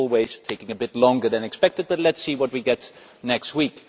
It always takes a bit longer than expected, but let us see what we get next week.